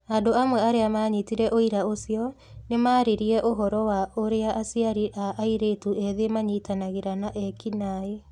Andũ amwe arĩa maanyitire ũira ũcio, nĩ maaririe ũhoro wa ũrĩa aciari a airĩtu ethĩ manyitanagĩra na eki naĩ.